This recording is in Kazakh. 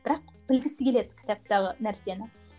бірақ білгісі келеді кітаптағы нәрсені